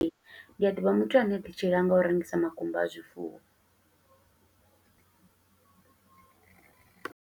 Ee, ndi a ḓivha muthu ane ḓi tshilela, nga u rengisa makumba a zwifuwo.